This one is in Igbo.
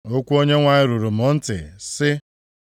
Okwu Onyenwe anyị ruru m ntị, sị,